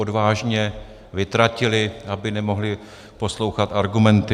- odvážně vytratili, aby nemohli poslouchat argumenty.